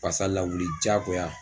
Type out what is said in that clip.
Pasa lawuli jaagoya.